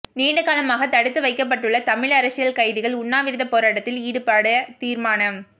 நீண்டகாலமாக தடுத்து வைக்கப்பட்டுள்ள தமிழ் அரசியல் கைதிகள் உண்ணாவிரத போராட்டத்தில் ஈடுபட தீர்மானம்